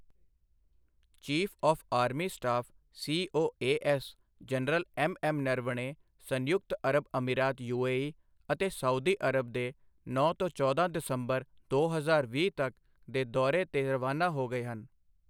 Chief of army staff COAS general M M Naravane, ਸੰਯੁਕਤ ਅਰਬ ਅਮੀਰਾਤ ਯੂਏਈ ਅਤੇ ਸਊਦੀ ਅਰਬ ਦੇ ਨੌਂ ਤੋਂ ਚੌਦਾਂ ਦਸੰਬਰ ਦੋ ਹਜ਼ਾਰ ਵੀਹ ਤਕ ਦੇ ਦੌਰੇ ਤੇ ਰਵਾਨਾ ਹੋ ਗਏ ਹਨ।